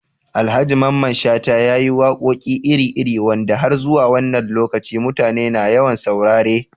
Alhaji Mamman Shata ya yi waƙoƙi iri-iri wanda har zuwa wannan lokaci mutane na yawan saurare